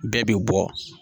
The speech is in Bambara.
Bɛɛ bi bɔ